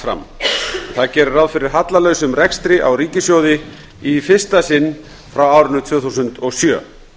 fram í því er gert ráð fyrir hallalausum rekstri á ríkissjóði í fyrsta sinn frá árinu tvö þúsund og sjö